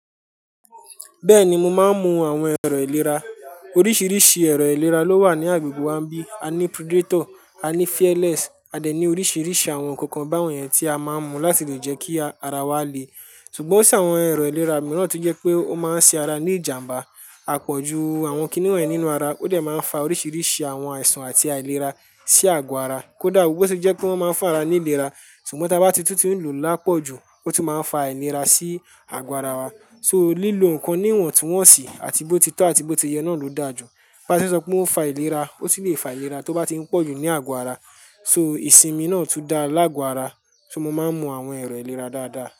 Bẹ́ẹ̀ni, mo máa ń mu àwọn ẹ̀rọ ìlera. Oríṣiríṣi ẹ̀rọ ìlera ló wà ní agbègbè wa bí i, a ní Predator, a ní Fearless, a dẹ̀ ní oríṣiríṣi àwọn kankan báwọ̀n yẹn tí a máa ń mu láti lè jẹ́ kí ara wa le. Ṣùgbọ́n ó se àwọn ẹ̀rọ ìlera mìíràn tí ó jẹ́ pé ó máa ń ṣe ara ní ìjàmbá, a pọ̀ ju àwọn kini wọ̀n yí nínú ara. Ó dẹ̀ máa ń fa oríṣiríṣi àwọn àìsàn àti àìlera sí àgo ara. Kódà bó ṣe jẹ́ pé wọ́n máa ń fa ara ní ìlera, ṣùgbọ́n tí a bá ti tún ti ń lò ó lápọ̀ ju ó tún máa ń fa àìlera sí àgo ara wa. So lílo nǹkan níwọ̀ntí wọ́n ṣì, àti bó ti tọ àti bó ti yẹ náà ló dà jù. Bá ṣe sọ pé ó fa ìlera, ó sì lè fa ìnira tó bá ti ń pọ̀ jù ní àgọ́ ara. So ìsinmi náà tún da lágo ara. So mo máa ń mu àwọn ẹ̀rọ ìlera dáadáa.